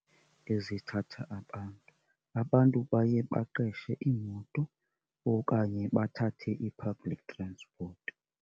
Ezithatha abantu, abantu baye baqeshe iimoto okanye bathathe ii-public transport.